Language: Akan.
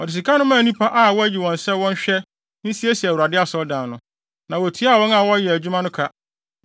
Ɔde sika no maa nnipa a wɔayi wɔn sɛ wɔnhwɛ, nsiesie Awurade Asɔredan no. Na wotuaa wɔn a wɔyɛɛ adwuma no ka.